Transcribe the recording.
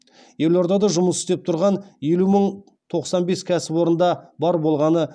елордада жұмыс істеп тұрған елу мың тоқсан бес кәсіпорында бар болғаны